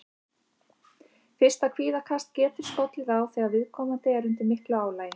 Fyrsta kvíðakast getur skollið á þegar viðkomandi er undir miklu álagi.